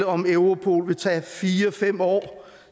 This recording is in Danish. om europol vil tage fire fem år